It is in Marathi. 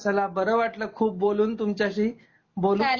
चला बर वाटल खूप बोलून तुमच्याशी. बोलू